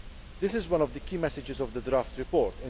This is one of the key messages of the draft report.